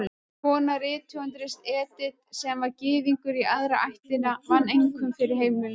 Kona rithöfundarins, Edith, sem var Gyðingur í aðra ættina, vann einkum fyrir heimilinu.